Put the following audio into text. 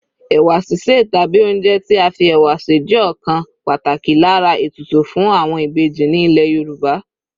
Ẹ̀wà sísè tàbí oúnjẹ tí a fi ẹ̀wà sè jẹ́ ọ̀kan pàtàkì lára ètùtù fún àwọn Ìbejì ní ilẹ̀ Yorùbá.